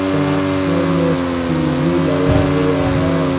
शब्द में टी_वी लगा हुआ है।